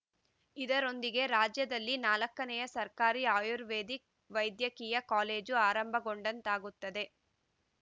ಇದರೊಂದಿಗೆ ರಾಜ್ಯದಲ್ಲಿ ನಾಲ್ಕನೆಯ ಸರ್ಕಾರಿ ಆಯುರ್ವೇದಿಕ್‌ ವೈದ್ಯಕೀಯ ಕಾಲೇಜು ಆರಂಭಗೊಂಡಂತಾಗುತ್ತದೆ